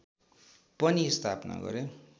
पनि स्थापना गरे